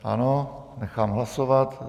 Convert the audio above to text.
Ano, nechám hlasovat.